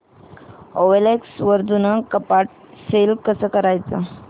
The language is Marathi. ओएलएक्स वर जुनं कपाट सेल कसं करायचं